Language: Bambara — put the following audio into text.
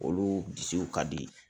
Olu bisiw ka di